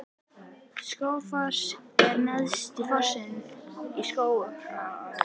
Skógafoss er neðsti fossinn í Skógaá.